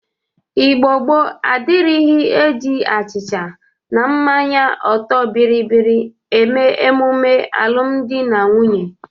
Igbo gboo adịrighi e ji achịcha na mmanye ọtọ bịrịbịrị eme emume alụmdị na nwunye.